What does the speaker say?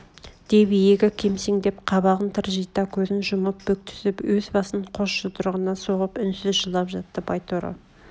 деп иегі кемсеңдеп қабағын тыржита көзін жұмып бүктүсіп өз басын қос жұдырығына соғып үнсіз жылап жатты байторы